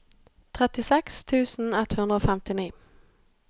trettiseks tusen ett hundre og femtini